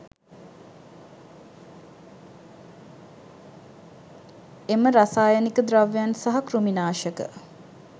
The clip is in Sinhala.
එම රසායනික ද්‍රව්‍යයන් සහ කෘමිනාශක